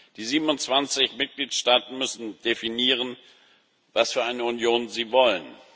Die 27 Mitgliedstaaten müssen definieren, was für eine Union sie wollen.